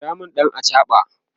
kira min ɗan achaɓa!